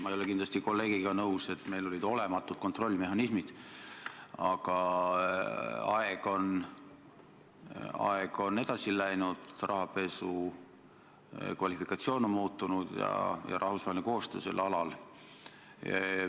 Ma ei ole kindlasti kolleegiga nõus, et meil olid olematud kontrollmehhanismid, aga aeg on edasi läinud, rahapesu kvalifikatsioon on muutunud ja on muutunud rahvusvaheline koostöö sel alal.